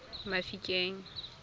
mafikeng